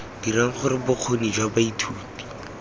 dirang gore bokgoni jwa baithuti